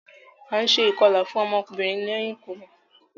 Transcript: A ǹ ṣe ikọla fún ọmọ ọkunrin lẹhin ibimọ